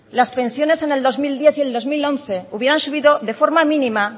las pensiones en el dos mil diez y en el dos mil once hubieran subido de forma mínima